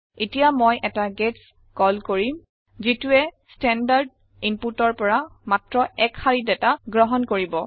এতিয়া মই এটা গেটছ কল কৰিম যিটোৱে স্তেনদাৰ্দ ইনপুতৰ পৰা মাত্ৰ এক শাৰী দাতা গ্ৰহণ কৰিব